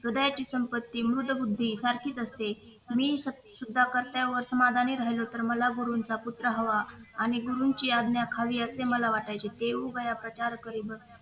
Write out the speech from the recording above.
हृदयाची संपत्ती आणि मृदुबद्धी सारखीच असते मी प्रत्याने समाधानी राहलो तर मला गुरूंचा पुठ्ठा हवा आणि गुरूंची आज्ञा मला खाली असे वाटायची